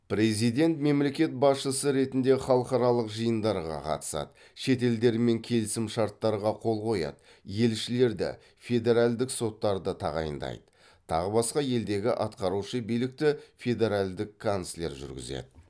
президент мемлекет басшысы ретінде халықаралық жиындарға қатысады шет елдермен келісімшарттарға қол қояды елшілерді федеральдік соттарды тағайындайды тағы басқа елдегі атқарушы билікті федеральдік канцлер жүргізеді